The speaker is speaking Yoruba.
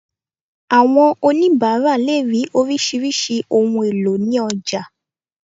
Àwọn onibara lè rí orisirisi ohùn èlò ni ọjà